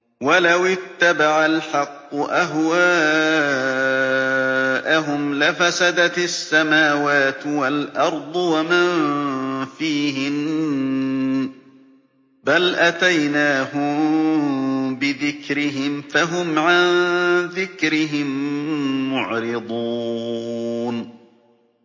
وَلَوِ اتَّبَعَ الْحَقُّ أَهْوَاءَهُمْ لَفَسَدَتِ السَّمَاوَاتُ وَالْأَرْضُ وَمَن فِيهِنَّ ۚ بَلْ أَتَيْنَاهُم بِذِكْرِهِمْ فَهُمْ عَن ذِكْرِهِم مُّعْرِضُونَ